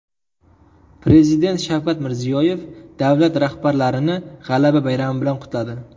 Prezident Shavkat Mirziyoyev davlat rahbarlarini G‘alaba bayrami bilan qutladi.